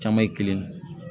Caman ye kelen ye